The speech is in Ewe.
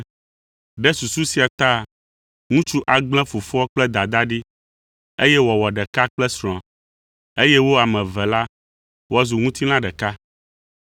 “Ɖe susu sia ta ŋutsu agblẽ fofoa kple dadaa ɖi, eye wòawɔ ɖeka kple srɔ̃a, eye wo ame eve la, woazu ŋutilã ɖeka.”